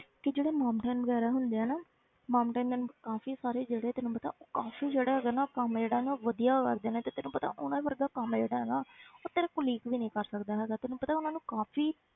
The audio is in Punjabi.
ਤੇ ਜਿਹੜੇ ਵਗ਼ੈਰਾ ਹੁੰਦੇ ਆ ਨਾ ਕਾਫ਼ੀ ਸਾਰੇ ਜਿਹੜੇ ਤੈਨੂੰ ਪਤਾ ਉਹ ਕਾਫ਼ੀ ਜਿਹੜੇ ਹੈਗੇ ਨਾ ਉਹ ਕੰਮ ਜਿਹੜਾ ਹੈ ਨਾ ਉਹ ਵਧੀਆ ਕਰਦੇ ਨੇ ਤੇ ਤੈਨੂੰ ਪਤਾ ਉਹਨਾਂ ਵਰਗਾ ਕੰਮ ਜਿਹੜਾ ਹੈ ਨਾ ਉਹ ਤੇਰੇ colleague ਵੀ ਨੀ ਕਰ ਸਕਦਾ ਹੈਗਾ ਤੈਨੂੰ ਪਤਾ ਉਹਨਾਂ ਨੂੰ ਕਾਫ਼ੀ